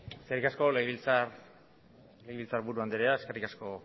eskerrik asko legebiltzarburu andrea eskerrik asko